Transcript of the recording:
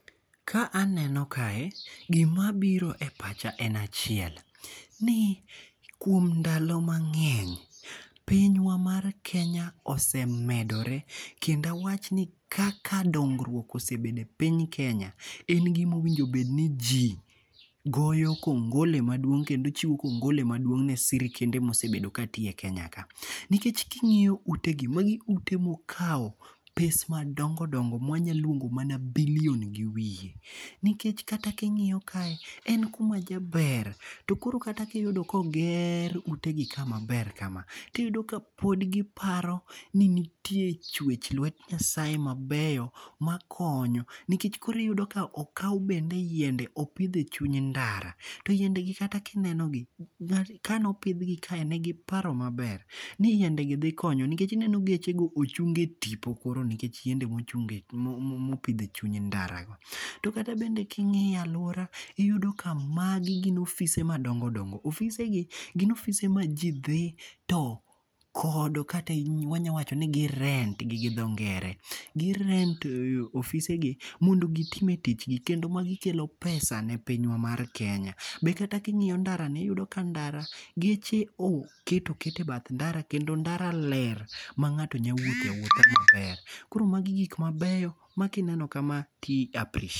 Ka aneno kae gima biro e pacha en achiel. Ni, kuom ndalo mang'eny piny wa mar Kenya osemedore kendo wach ni kaka dongruok osebedo e piny Kenya en gimowinjo bed ni ji goyo kongole maduong' kendo chiwo kongole maduong' ne sirikende mosebedo ka tiyo e Kenya ka. Nikech king'iyo ute gi magi ute mokaw pes madongo dongo ma wanyaluongo mana billion gi wiye. Nikech kata king'iyo kae en kuma jaber to koro kata kiyudo koger ute gi ka maber kama tiyudo ka pod giparo ni nitie chwech lwet nyasaye mabeyo makonyo nikech koro iyudo ka okaw bende yiende opidh e chuny ndara. To yiende gi kata kineno gi kanopidhgi kae negiparo maber ni yiende gi dhi konyo. Nikech ineno geche go ochung e tipo koro nikech yiende mopidh e chuny ndara go. Tokata bende kingiyo aluora iyudo ka magi gin ofise madongo dongo. Ofise gi gin ofise ma ji dhi to kodo kata wanya wacho ni gi rent gi gi dho ngere. Gi rent ofise gi mondo gitime tich gi kendo magi kelo pesa ne piny wa mar Kenya. Be kata king'iyo ndara ni iyudo ka ndara geche oket oket e bath ndara kendo ndara ler ma ng'ato nya wuothe awuotha maber. Koro magi gik mabeyo makineno kama ti appreciate.